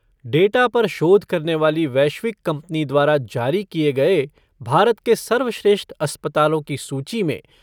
data पर शोध करने वाली वैश्विक कंपनी द्वारा जारी किए गए भारत के सर्वश्रेष्ठ अस्पतालों की सूची में